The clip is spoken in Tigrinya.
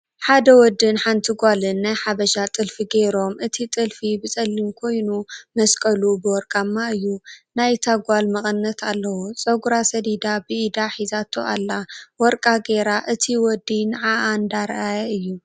ሓደ ውዲን ሓንቲ ጋልን ናይ ሓብሻ ጥልፊ ገሮም እት ጥልፊ ብፀሊም ኮይኑ ምስቀሉ ብወርቃማ እዩ። ናይ ታ ጋል ምቅንት ኣልዎ ፀጉራ ሰዲዳ ብኢዳ ሂዛቲ ኣላ ወርቃ ጌራ እት ውዲ ንዓዓ እንዳረኣያ እዩ።